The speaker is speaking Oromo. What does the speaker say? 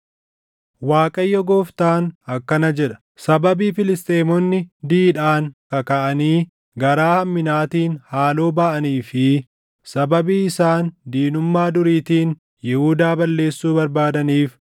“ Waaqayyo Gooftaan akkana jedha: ‘Sababii Filisxeemonni didhaan kakaʼanii garaa hamminaatiin haaloo baʼanii fi sababii isaan diinummaa duriitiin Yihuudaa balleessuu barbaadaniif,